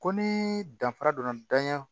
Ko ni danfara donna danya